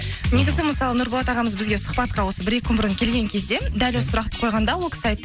негізі мысалы нұрболат ағамыз бізге сұхбатқа осы бір екі бұрын келген кезде дәл осы сұрақты қойғанда ол кісі айтты